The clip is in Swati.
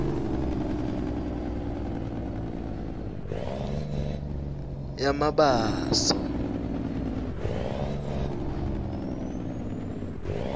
yamabaso